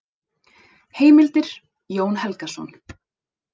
Heimildir: Jón Helgason.